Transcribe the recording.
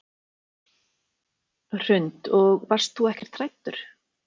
Hrund: Og varst þú ekkert hræddur?